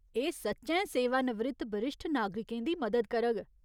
एह् सच्चैं सेवानिवृत्त बरिश्ठ नागरिकें दी मदद करग।